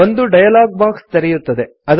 ಒಂದು dialog box ತೆರೆಯುತ್ತದೆ